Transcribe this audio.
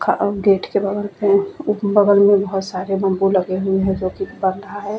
Gate के बगल में बहोत सारे बंबू लगे हुए है जोकि बढ़ रहा है।